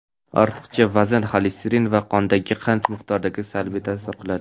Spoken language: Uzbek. ortiqcha vazn xolesterin va qondagi qand miqdoriga salbiy ta’sir qiladi.